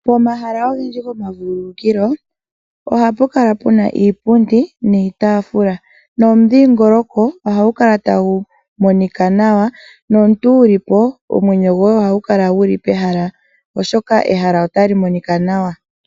Pomahala ogendji gomavululukilo ohapu kala pena iipundi niitaafula, momudhingoloko ohagu kala tagu monika nawa. Nomuntu wuli po omwenyo goye ohagu kala guli pehala, oshoka ehala otali monika nawa.